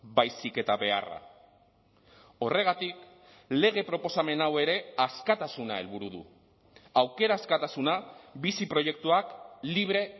baizik eta beharra horregatik lege proposamen hau ere askatasuna helburu du aukera askatasuna bizi proiektuak libre